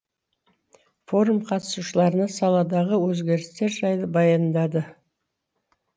форум қатысушыларына саладағы өзгерістер жайлы баяндады